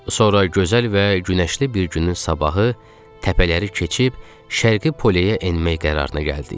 Sonra gözəl və günəşli bir günün sabahı təpələri keçib şərqi poleyə enmək qərarına gəldik.